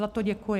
Za to děkuji.